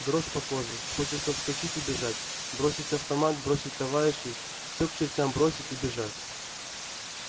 дрожь по коже хочется вскочить и бежать бросить автомат бросить товарищей всё к чертям бросить и бежать